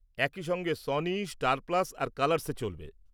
একই সঙ্গে Sony, Star Plus আর কালারসে চলবে।